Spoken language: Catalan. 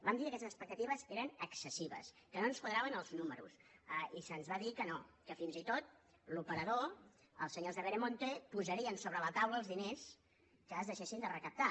vam dir que aquestes expectatives eren excessives que no ens quadraven els números i se’ns va dir que no que fins i tot l’operador els senyors de veremonte posarien sobre la taula els diners que deixéssim de recaptar